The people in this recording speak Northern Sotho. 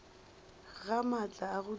ga maatla a go dira